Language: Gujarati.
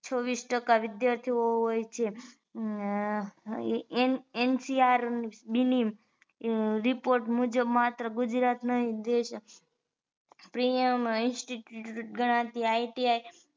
છવીસ ટકા વિદ્યાર્થીઓ હોય છે હ NCR દીલ્હી report મુજબ માત્ર ગુજરાત ના પ્રીયમ Institute ગણાતી ITI